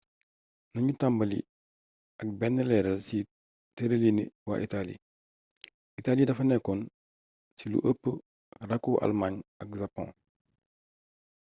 nanu tàmbali ak benn leeral ci tërëliini waa itali itali dafa nekkoon ci lu ëpp rakku' almaañ ak japon